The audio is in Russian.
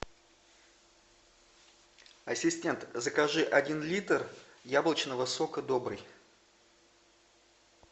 ассистент закажи один литр яблочного сока добрый